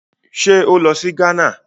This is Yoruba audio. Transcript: Ṣé ó lọ sí Ghana?